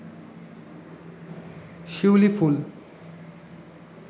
শিউলি ফুল